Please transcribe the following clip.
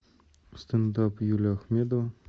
стендап юлия ахмедова